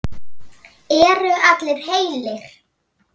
Eru allir heilir?